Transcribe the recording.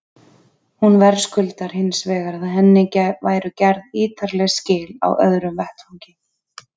Hún verðskuldar hins vegar að henni væru gerð ítarleg skil á öðrum vettvangi.